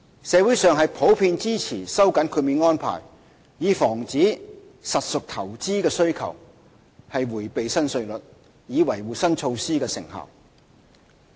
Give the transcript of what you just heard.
社會普遍支持收緊豁免安排，以防止實屬投資的需求迴避新稅率，從而維護新措施的成效。